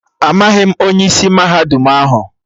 Amaghị m onye isi mahadum ahụ